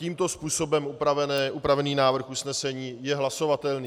Tímto způsobem upravený návrh usnesení je hlasovatelný.